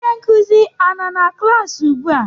Onye nkuzi a nọ na klaasị ugbua?